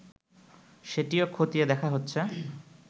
সেটিও খতিয়ে দেখা হচ্ছে